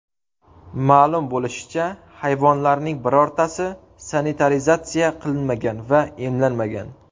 Ma’lum bo‘lishicha, hayvonlarning birortasi sanitarizatsiya qilinmagan va emlanmagan.